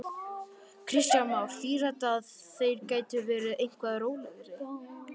Kristján Már: Þýðir þetta að þeir geti verið eitthvað rólegri?